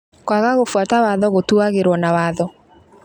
Kwaga gũbuata watho gũtuagĩrwo na watho